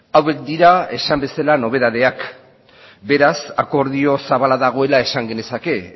hauek dira esan bezala nobedadeak beraz akordio zabala dagoela esan genezake